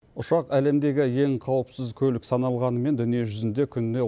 ұшақ әлемдегі ең қауіпсіз көлік саналғанымен дүние жүзінде күніне